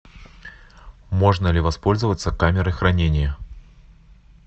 можно ли воспользоваться камерой хранения